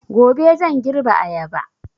Gobe zan girbe ayaba